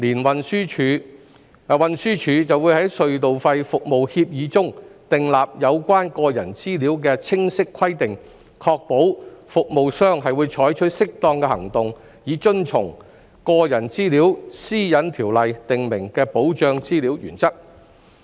運輸署會在隧道費服務協議中訂立有關個人資料的清晰規定，確保服務商會採取適當行動以遵從《個人資料條例》訂明的保障資料原則。